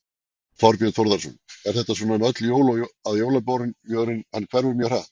Þorbjörn Þórðarson: Er þetta svona um öll jól að jólabjórinn hann hverfur mjög hratt?